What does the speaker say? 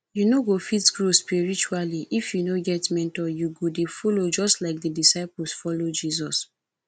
you no fit grow spiritually if you no get mentor you go dey follow just like the disciples follow jesus